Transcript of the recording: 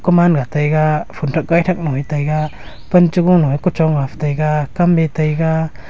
kuman ga taiga phonthak gaithak lo e taiga pan cha gu lo ee kuchong ga phai taiga kam e taiga.